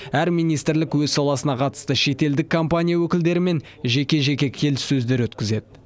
әр министрлік өз саласына қатысты шетелдік компания өкілдерімен жеке жеке келіссөздер өткізеді